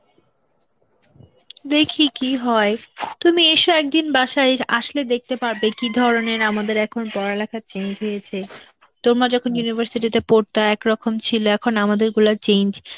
দেখি কি হয়, তুমি এসো একদিন বাসায়, এই~ আসলে দেখতে পারবে কি ধরনের আমাদের এখন পড়ালেখা change হয়েছে. তোমরা যখন University তে পড়তা একরকম ছিল, এখন আমাদের গুলা change,